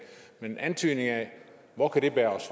men en antydning af hvor det kan bære os